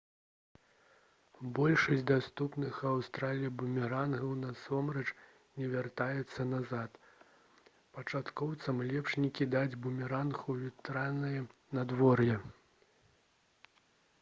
большасць даступных у аўстраліі бумерангаў насамрэч не вяртаюцца назад пачаткоўцам лепш не кідаць бумеранг у ветранае надвор'е